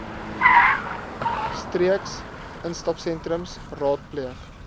streeks instapsentrums raadpleeg